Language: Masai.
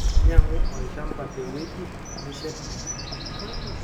Nyang'u olchamba teweji nishet enkaji.